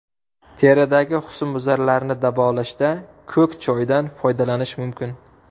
Teridagi husnbuzarlarni davolashda ko‘k choydan foydalanish mumkin.